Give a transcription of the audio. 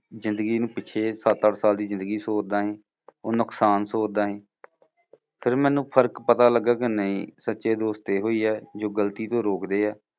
ਜ਼ਿੰਦਗੀ ਨੂੰ ਪਿੱਛੇ ਸੱਤ ਅੱਠ ਸਾਲ ਦੀ ਜ਼ਿੰਦਗੀ ਸੋਚਦਾ ਸੀ, ਉਹ ਨੁਕਸਾਨ ਸੋਚਦਾ ਸੀ ਫਿਰ ਮੈਨੂੰ ਫ਼ਰਕ ਪਤਾ ਲਗਿਆ ਕਿ ਨਹੀਂ ਸੱਚੇ ਦੋਸਤ ਇਹੋ ਹੀ ਹੈ ਜੋ ਗ਼ਲਤੀ ਤੋਂ ਰੋਕਦੇ ਆ ।